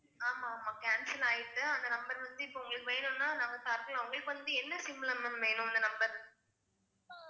ஆமா ஆமா cancel ஆயிட்டு அந்த number வந்து இப்போ உங்களுக்கு வேணும்னா நாங்க தர்ரோம் உங்களுக்கு வந்து என்ன SIM ல ma'am வேணும் அந்த number